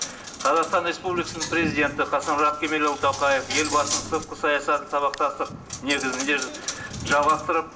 қазақстан республикасының президенті қасым жомарт кемелұлы тоқаев елбасының сыртқы саясатын сабақтастық негізінде жалғастырып